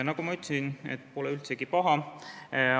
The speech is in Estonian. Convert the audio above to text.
Nagu ma ütlesin, pole see üldsegi paha.